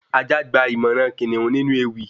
Ajá gba ìmọ̀ràn kìnìún nínú ewì